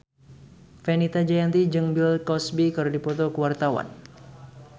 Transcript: Fenita Jayanti jeung Bill Cosby keur dipoto ku wartawan